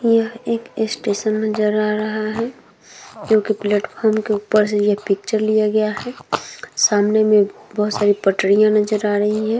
यह एक स्टेशन नजर आ रहा है जो की प्लेटफार्म के ऊपर से ये पिक्चर लिया गया है। सामने में बहुत सारी पटरियां नजर आ रही है।